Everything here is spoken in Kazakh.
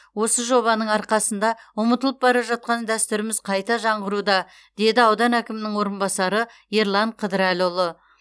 осы жобаның арқасында ұмытылып бара жатқан дәстүріміз қайта жаңғыруда деді аудан әкімінің орынбасары ерлан қыдырәліұлы